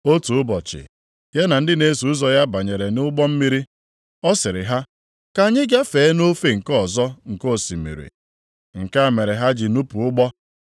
Otu ụbọchị, ya na ndị na-eso ụzọ ya banyere nʼụgbọ mmiri, ọ sịrị ha, “Ka anyị gafee nʼofe nke ọzọ nke osimiri.” Nke a mere ha ji nụpụ ụgbọ,